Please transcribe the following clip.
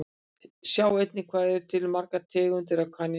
Sjá einnig Hvað eru til margar tegundir af kanínum?